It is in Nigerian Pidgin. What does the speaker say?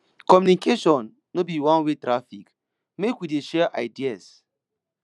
communication no be oneway traffic make we dey share ideas